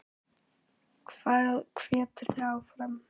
Hvað hvetur þig áfram?